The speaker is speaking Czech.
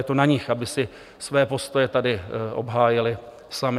Je to na nich, aby si své postoje tady obhájili sami.